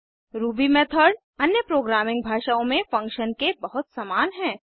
Ruby method अन्य programming भाषाओं में फंक्शन्स के बहुत समान है